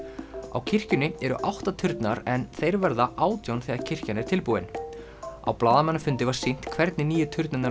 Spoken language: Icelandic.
á kirkjunni eru átta turnar en þeir verða átján þegar kirkjan er tilbúin á blaðamannafundi var sýnt hvernig nýju turnarnir